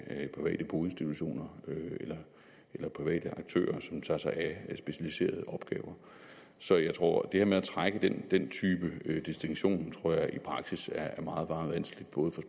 private boinstitutioner eller private aktører som tager sig af specialiserede opgaver så jeg tror at det her med at trække den den type distinktion i praksis er meget meget vanskeligt både